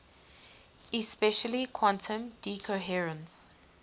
especially quantum decoherence